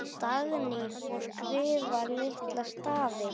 Dagný: Og skrifa litla stafi.